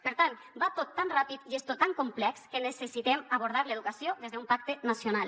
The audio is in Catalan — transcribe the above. per tant va tot tan ràpid i és tot tan complex que necessitem abordar l’educació des d’un pacte nacional